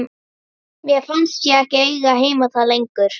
Mér fannst ég ekki eiga heima þar lengur.